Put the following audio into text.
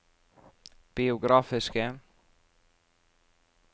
biografiske